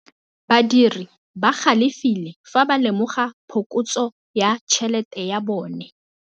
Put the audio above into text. Badiri ba galefile fa ba lemoga phokotsô ya tšhelête ya bone.